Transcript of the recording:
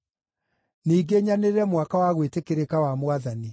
ningĩ nyanĩrĩre mwaka wa gwĩtĩkĩrĩka wa Mwathani.”